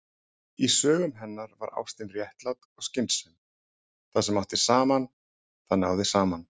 Í sögum hennar var ástin réttlát og skynsöm: Það sem átti saman- það náði saman.